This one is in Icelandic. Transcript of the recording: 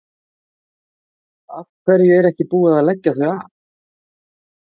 Af hverju er ekki búið að leggja þau af?